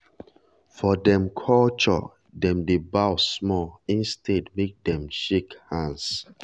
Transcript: for dem culturedem dey bow small instead make dem shake hands